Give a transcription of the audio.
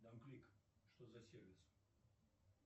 дамклик что за сервис